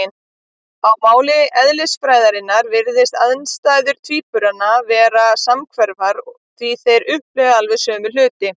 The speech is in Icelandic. Á máli eðlisfræðinnar virðast aðstæður tvíburanna vera samhverfar, því þeir upplifa alveg sömu hluti.